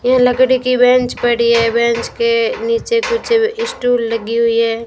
यह लकड़ी की बेंच पड़ी है बेंच के नीचे कुछ स्टुल लगी हुई है।